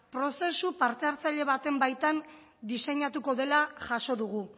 prozesu parte hartzaile baten baitan diseinatuko dela jaso dugu